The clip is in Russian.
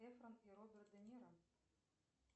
эфрон и роберт де ниро